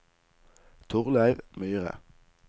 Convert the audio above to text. Torleiv Myhre